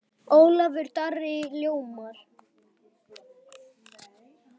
Ólafur Darri ljómar.